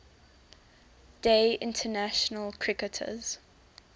day international cricketers